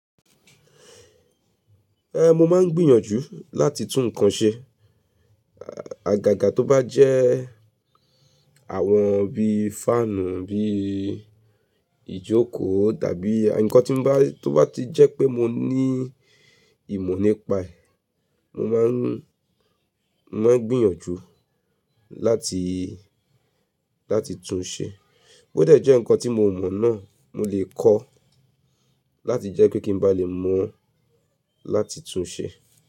Eh, mo máa ń gbìyànjú láti tún nǹkan ṣe, àgaaga tó bá jẹ́ àwọn bí i fáànù, bí i ìjókòó tàbí nǹkan tí n bá, tó bá ti jẹ́ pé mo ní ìmọ̀ nípa ẹ̀, mo máa ń, máa ń gbìyànjú láti, láti tún un ṣe. Bó dẹ jẹ́ nǹkan tí mo mọ̀ náà mo lè kọ́ láti jẹ́ kí n ba lè mọ̀ láti tún un ṣe.